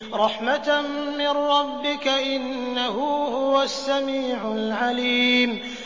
رَحْمَةً مِّن رَّبِّكَ ۚ إِنَّهُ هُوَ السَّمِيعُ الْعَلِيمُ